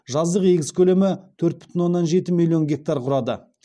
жаздық егіс көлемі төрт бүтін оннан жеті миллион гектар құрады